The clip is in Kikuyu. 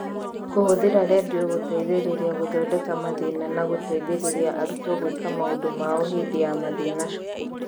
Kũhũthĩra redio gũteithĩrĩria gũthondeka mathĩĩna na gũteithĩrĩria arutwo gwĩka maũndũ mao hĩndĩ ya mathĩĩna cukuru.